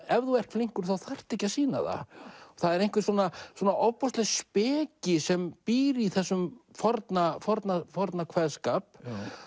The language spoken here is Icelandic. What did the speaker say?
ef þú ert flinkur þá þarftu ekki að sýna það það er einhver svona svona ofboðsleg speki sem býr í þessum forna forna forna kveðskap